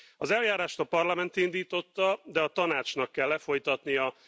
Az eljárást a Parlament indította, de a Tanácsnak kell lefolytatnia.